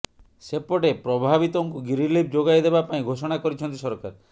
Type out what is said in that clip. ସେପଟେ ପ୍ରଭାବିତଙ୍କୁ ରିଲିଫ ଯୋଗାଇଦେବା ପାଇଁ ଘୋଷଣା କରିଛନ୍ତି ସରକାର